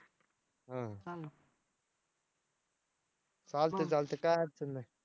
चालतंय चालतंय काय अडचण नाही.